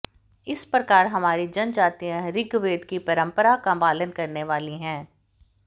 इस प्रकार हमारी जनजातियाँ ऋग्वेद की परम्परा का पालन करने वाली है